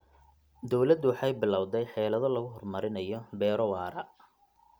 Dawladdu waxay bilawday xeelado lagu horumarinayo beero waara.